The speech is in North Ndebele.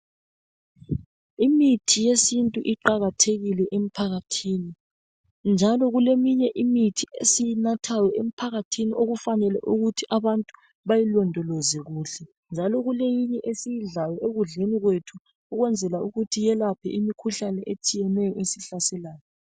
Imithi yesintu iqakathekile emphakathini njalo kuleminye imithi esiyinathayo emphakathini okufanele ukuthi abantu bayilondoloze kuhle njalo kuleyinye esiyidlayo ekudleni kwethu ukwenzela ukuthi iyelaphe imikhuhlane etshiyeneyo esihlaselayo.